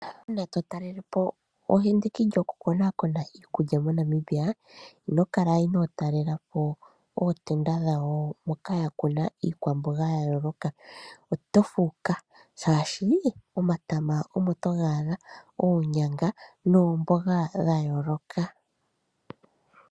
Natu talele po endiki lyoku konakona iikulya moNamibia. Ino kala inoo talela po ootenda dhawo moka ya kuna iikwamboga ya yooloka. Oto fuuka, shaashi omatama omo toga adha, oonyanga noomboga dha yooloka.